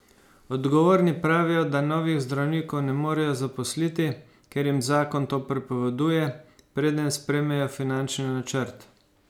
Odgovorni pravijo, da novih zdravnikov ne morejo zaposliti, ker jim zakon to prepoveduje, preden sprejmejo finančni načrt.